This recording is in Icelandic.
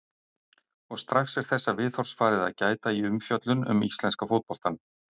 Og strax er þessa viðhorfs farið að gæta í umfjöllun um íslenska fótboltann.